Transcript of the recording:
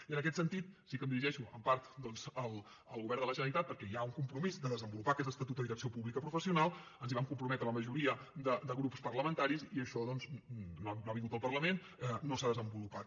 i en aquest sentit sí que em dirigeixo en part doncs al govern de la generalitat perquè hi ha un compromís de desenvolupar aquest estatut de direcció pública professional ens hi vam comprometre la majoria de grups parlamentaris i això no ha vingut al parlament no s’ha desenvolupat